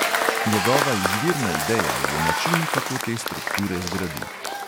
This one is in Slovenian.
Njegova izvirna ideja je način, kako te strukture zgradi.